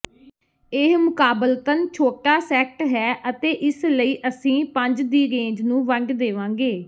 ਇਹ ਮੁਕਾਬਲਤਨ ਛੋਟਾ ਸੈੱਟ ਹੈ ਅਤੇ ਇਸ ਲਈ ਅਸੀਂ ਪੰਜ ਦੀ ਰੇਂਜ ਨੂੰ ਵੰਡ ਦੇਵਾਂਗੇ